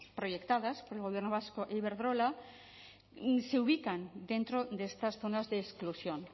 proyectadas por el gobierno vasco e iberdrola se ubican dentro de estas zonas de exclusión